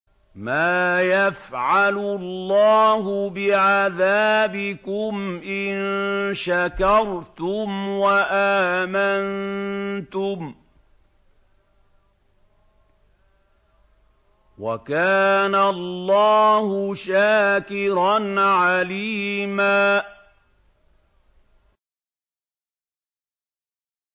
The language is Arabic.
مَّا يَفْعَلُ اللَّهُ بِعَذَابِكُمْ إِن شَكَرْتُمْ وَآمَنتُمْ ۚ وَكَانَ اللَّهُ شَاكِرًا عَلِيمًا